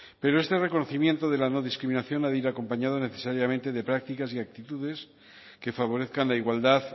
pero este reconocimiento de la no discriminación ha de ir acompañado necesariamente de prácticas y actitudes que favorezcan la igualdad